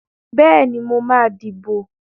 Bẹ́ẹ̀ni, mo máa dìbò.